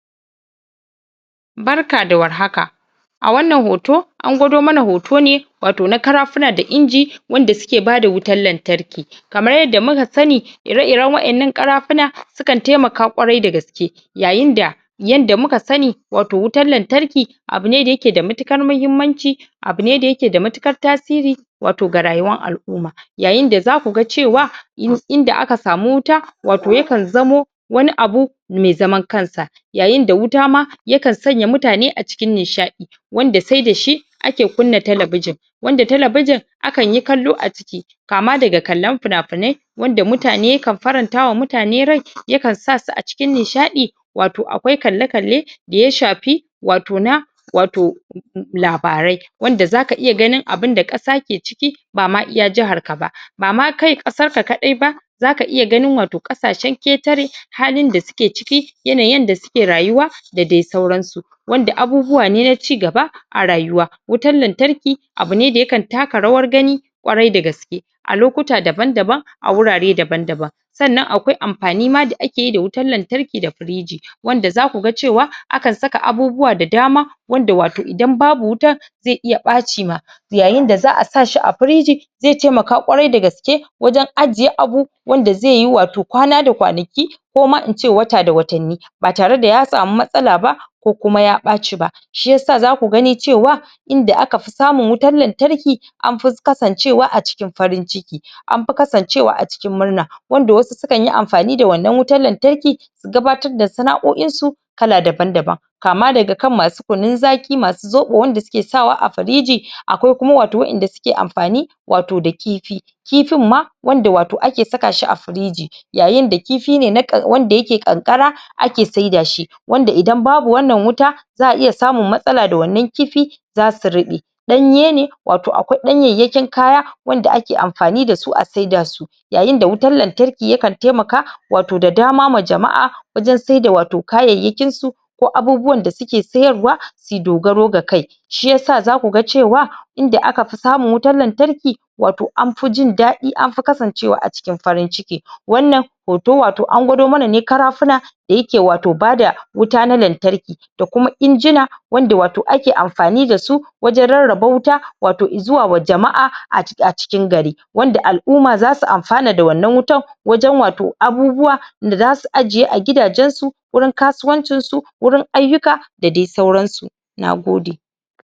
barka war haka a wannan hoto an gwado mana hoto ne wato na karafuna da inji wanda suke bada wutar lantarki kamar yadda muka sani irer iren wa'ennan karafuna sukan taimaka kwarai dagaske yayin da yanda muka sani wato wutar lantarki abun da yake da matukar mahimmanci abune da yake da matukar tasiri wato ga rayuwan al'umma yayin da zaku ga cewa inda aka samu wuta wato yakan zamo wani abu mai zaman kan sa yayin da wuta ma yakan sanya mutane a cikin nishadi wanda sai da shi ake kunna telebijin wanda telebijin akanyi kallo a ciki kama daga kallan finafinai wanda mutane kan faranta wa mutane rai yakan sa su cikin nishadi wato kalla kalle ya shafi wato na wato labarai wanda zaka ganin abu da kasa ke ciki ba ma iya jahar ka ba bama kai kasar ka kadai ba zaka iya gani wato kasashen ketare halin da suke ciki yanayin yanda suke rayuwa da dai sauran su wanda abubuwa ne na cigaba a rayuwa wutan lantarki abune da yakan taka rawar gani kwarai dagaske a lokuta dabab daban a wurare daban daban sannan akwai amfani ma da akeyi da wutan lantarki da friji wanda zaku ga cewa akan saka abubuwa da dama wanda wato idan babu wutan zai iya paci ma yayin da za'a sa shi a friji zai taimaka kwarai dagaske wajen ajiye abubuwa wanda zaiyi wato kwana da kwanaki ko ma ince wata da watanni ba tare da ya samu matsala ba ko kuma ya baci ba shiyasa zaku gani cewa inda aka fi samu wutar lantarki an fi kasancewa a cikin farin ciki an fi kasancewa a cikin murna wanda wasu su kan yi amfani da wannan wutan lantarki gabatar da sana'oin su kala daban daban kama daga kan masu kunun zaki masu zobo suke saka wa a firiji akwai kuma wato wa'enda suke amfani wato da kifi kifin ma wanda wato ake saka shi a firiji yayin da kifi ne wanda yake kankara ake saida shi wanda idan babu wannan wuta za'a iya samun matsala da wannan kifi zasu rube danye ne wato akwai danyayyakin kaya wanda ake amfani dasu a saida su yayin da wutar lantarki yakan taimaka wato da dama ma jama'a wajen saida wato kayyaykin su ko abubuwan da suke siyarwa suyi dogaro ga kai shiyasa zaku ga cewa inda aka fi samun wutan lantarki wato an fi jindadi anfi kasancewa a cikin farin ciki wannan hoto an gwado mana ne karafuna da yake wato bada wuta na lantarki da kuma injina wanda wato ake amfani dasu wajen rarraba wuta wato zuwa wa jama'a a cikin gari wanda al'umma zasu amfana da wannan wutan wajen wato abubuwa da zasu ajiye a gidajen su wurin kasuwancin su wurin aiyuka da dai sauran su nagode